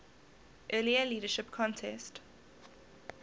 earlier leadership contest